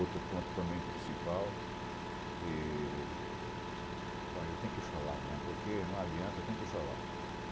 Outro ponto também principal e... Bom, eu tenho que falar né, porque não adianta, eu tenho que falar.